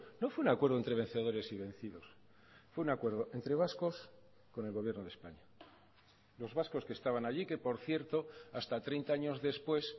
no fue un acuerdo entre vencedores y vencidos fue un acuerdo entre vascos con el gobierno de españa los vascos que estaban allí que por cierto hasta treinta años después